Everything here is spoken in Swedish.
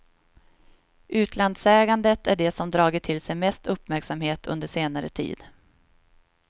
Utlandsägandet är det som dragit till sig mest uppmärksamhet under senare tid.